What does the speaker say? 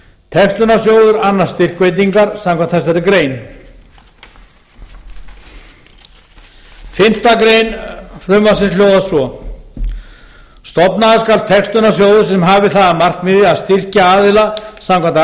textunarsjóður annast styrkveitingar samkvæmt þessari grein fimmta grein frumvarpsins hljóðar svo stofnaður skal textunarsjóður sem hafi það að markmiði að styrkja aðila samkvæmt